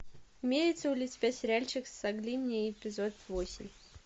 имеется ли у тебя сериальчик солги мне эпизод восемь